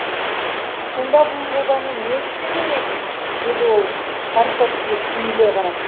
сонда бұл жобаны не істе демексіз деді ол парторгке түйіле қарап